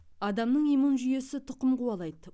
адамның иммун жүйесі тұқым қуалайды